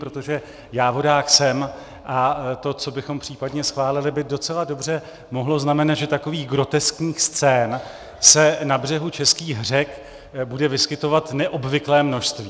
Protože já vodák jsem a to, co bychom případně schválili, by docela dobře mohlo znamenat, že takových groteskních scén se na břehu českých řek bude vyskytovat neobvyklé množství.